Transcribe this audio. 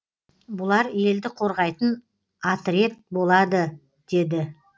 бұлар елді қорғайтын атрет болады деді